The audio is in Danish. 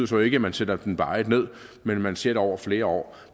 så ikke at man sætter den varigt ned men at man ser det over flere år